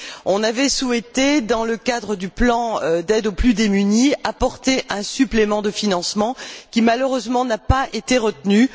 On avait souhaité, dans le cadre du plan d'aide aux plus démunis, apporter un supplément de financement qui, malheureusement, n'a pas été retenu.